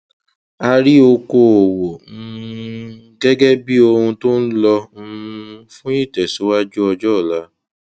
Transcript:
a rí okòòwò um gẹgẹ bí ohun tó ń lọ um fún ìtẹsíwájú ọjọ ọla